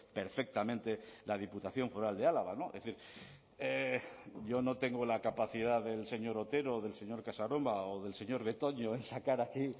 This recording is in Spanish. perfectamente la diputación foral de álava es decir yo no tengo la capacidad del señor otero o del señor casanova o del señor betoño en sacar aquí